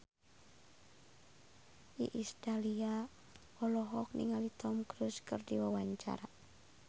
Iis Dahlia olohok ningali Tom Cruise keur diwawancara